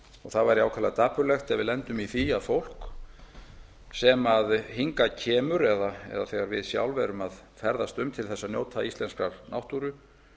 það væri ákaflega dapurlegt ef við benda um í því að fólk sem hingað kemur eða þegar við sjálf erum að ferðast um til þess að njóta íslenskrar náttúru